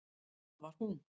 Það var hún!